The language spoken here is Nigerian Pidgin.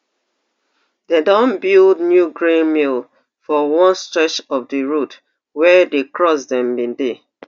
dem don build new grain mill for one stretch of di road wia di cross dem bin dey